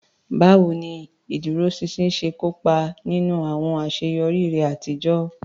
Báwo ni ìdúróṣinṣin ṣe kó ipa nínú àwọn àṣeyọrí rẹ àtijọ́?